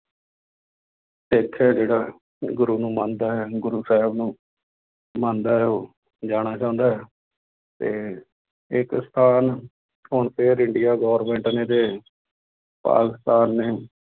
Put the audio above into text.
ਸਿੱਖ ਹੈ ਜਿਹੜਾ ਗੁਰੂ ਨੂੰ ਮੰਨਦਾ ਹੈ ਗੁਰੂ ਸਾਹਿਬ ਨੂੰ ਮੰਨਦਾ ਹੈ ਉਹ ਜਾਣਾ ਚਾਹੁੰਦਾ ਹੈ ਤੇ ਇੱਕ ਸਥਾਨ ਹੁਣ ਫਿਰ ਇੰਡੀਆ government ਨੇ ਤੇ ਪਾਕਿਸਤਾਨ ਨੇੇ